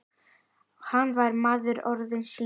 Hann var maður orða sinna.